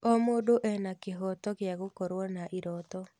O mũndũ ena kĩhooto gĩa gũkorwo na irooto.